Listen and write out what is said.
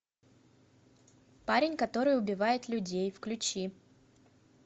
парень который убивает людей включи